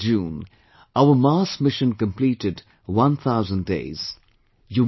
On the 19th of June, our Mars Mission completed one thousand days